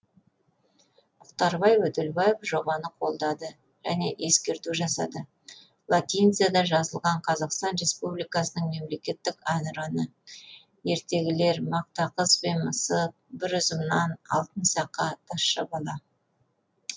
мұхтарбай өтелбаев жобаны қолдады және ескертулер жасады латиницада жазылған қазақстан республикасының мемлекеттік әнұраны ертегілер мақта қыз бен мысық бір үзім нан алтын сақа тазша бала